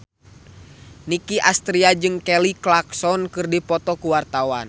Nicky Astria jeung Kelly Clarkson keur dipoto ku wartawan